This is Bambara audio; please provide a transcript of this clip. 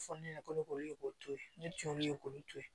Fɔ ne ɲɛna ko ne k'olu ye k'o to ye ne jɔ olu ye k'olu to ye